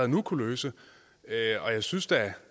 nu kunne løse og jeg synes da